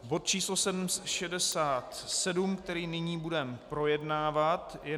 Bod číslo 67, který nyní budeme projednávat, je